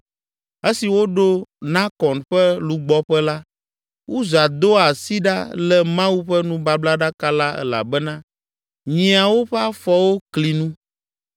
Esi woɖo Nakon ƒe lugbɔƒe la, Uza do asi ɖa lé Mawu ƒe nubablaɖaka la elabena nyiawo ƒe afɔwo kli nu.